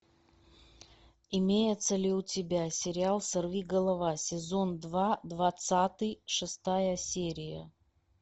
имеется ли у тебя сериал сорви голова сезон два двадцатый шестая серия